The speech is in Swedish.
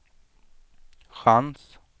chans